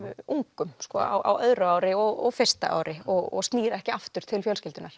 ungum sko á öðru ári og fyrsta ári og snýr ekki aftur til fjölskyldunnar